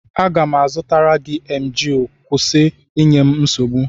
m ga-azụtara gị Emgịl kwụsị inye m nsogbu!